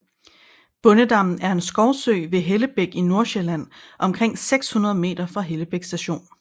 Bondedammen er en skovsø ved Hellebæk i Nordsjælland omkring 600 meter fra Hellebæk Station